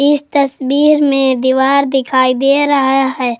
इस तस्वीर में दीवार दिखाई दे रहा है।